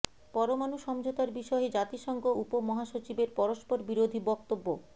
পরমাণু সমঝোতার বিষয়ে জাতিসংঘ উপ মহাসচিবের পরস্পর বিরোধী বক্তব্য